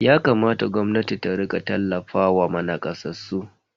Yakamata gwamnatin ta rika tallafawa nakasassu.